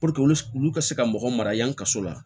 Puruke olu wulu ka se ka mɔgɔ mara yan ka so la